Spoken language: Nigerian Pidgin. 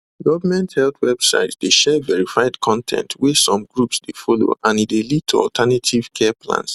government health websites dey share verified con ten t wey some groups dey follow and e dey lead to alternative care plans